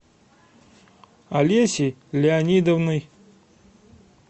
олесей леонидовной